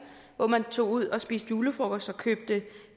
hvor man tog ud og spiste julefrokost og købte